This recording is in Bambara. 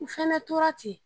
N fɛnɛ tora ten.